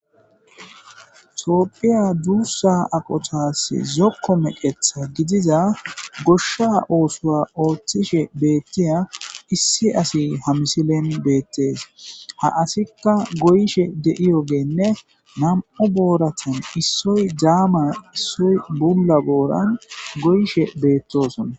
Toopphiya duussa aqotas zokko meqetha gidiza goshsha oosoa ooththishe beettiya issi asi ha misilen beettes ha asikka goyishe de'iyo geenne nam'u booratan issoy daama issoy bula gooran goyishe beettosona.